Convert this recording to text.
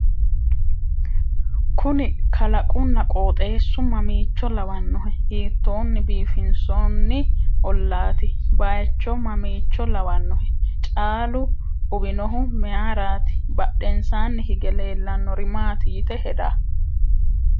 kuni kalaqunna qooxeessu mamiicho lawannohe? hiittoonni biifinsoonni ollaati? bayyechu mamiicho lawanohe? caalu uwinohu meyeeraati? badhensaani hige leellannori maati yite heda?